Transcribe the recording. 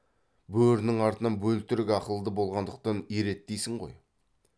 бөрінің артынан бөлтірік ақылды болғандықтан ереді дейсің ғой